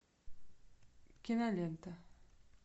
кинолента